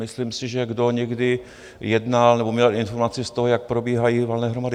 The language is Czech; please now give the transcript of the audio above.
Myslím si, že kdo někdy jednal nebo měl informace z toho, jak probíhají valné hromady...